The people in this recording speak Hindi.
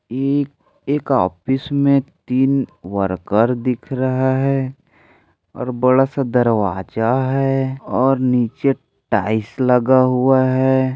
एक एक ऑफिस मे तीन वर्कर दिख रहा है और बड़ा सा दरवाजा है और नीचे टाईल्स लगा हुआ है।